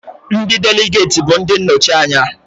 Ndị Deligeti bụ ndị nnọchi anya